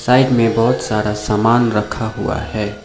Side में बहोत सारा समान रखा हुआ है।